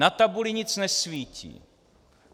Na tabuli nic nesvítí.